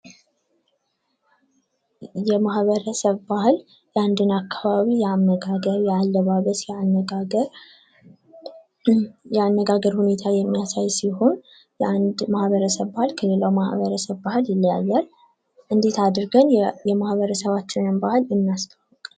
የማህበረሰብ ባህል የአንድን አካባቢ የአመጋገብ፣ የአለባበስ፣ የአነጋገር ሁኔታ የሚያሳይ ሲሆን የአንድ ማህበረሰብ ባህል ከሌላው ማህበረሰብ ባህል ይለያያል። እንደት አድርገን የማህረሰባችንን ባህል እናስጠብቅ።